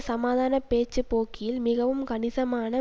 சமாதான பேச்சுப் போக்கில் மிகவும் கணிசமான